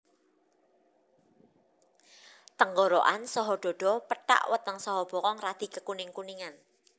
Tenggorokan saha dhadha pethak weteng saha bokong radi kekuning kuningan